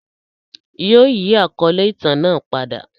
Yóò yi àkọle itan naa pada.